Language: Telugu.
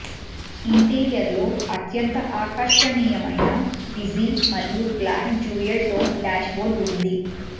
ఇంటీరియర్లో అత్యంత ఆకర్షణీయమైన బీజి మరియు black dual tone dashboard ఉంది